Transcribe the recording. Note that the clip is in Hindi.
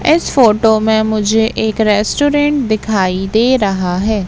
इस फोटो में मुझे एक रेस्टोरेंट दिखाई दे रहा है।